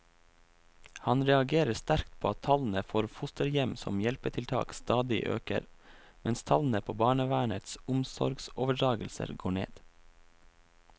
Han reagerer sterkt på at tallene for fosterhjem som hjelpetiltak stadig øker, mens tallene på barnevernets omsorgsoverdragelser går ned.